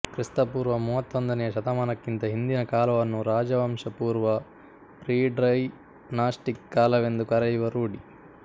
ಕ್ರಿಸ್ತಪೂರ್ವ ಮೂವತ್ತೊಂದನೆಯ ಶತಮಾನಕ್ಕಿಂತ ಹಿಂದಿನ ಕಾಲವನ್ನು ರಾಜವಂಶಪೂರ್ವ ಪ್ರೀಡೈನಾಸ್ಟಿಕ್ ಕಾಲವೆಂದು ಕರೆಯುವ ರೂಢಿ